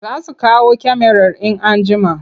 Za su kawo kyamarar in an jima.